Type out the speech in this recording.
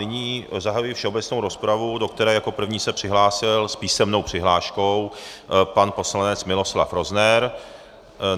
Nyní zahajuji všeobecnou rozpravu, do které jako první se přihlásil s písemnou přihláškou pan poslanec Miloslav Rozner.